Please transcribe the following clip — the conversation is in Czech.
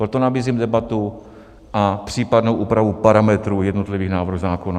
Proto nabízím debatu a případnou úpravu parametrů jednotlivých návrhů zákona.